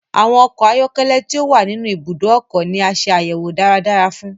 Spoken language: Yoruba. Awọn ọkọ ayọkẹlẹ ti o wa ninu ibùdó ọkọ ni a ṣe ayẹwo dáradára fún